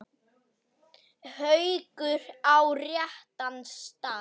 Haukur: Á réttan stað?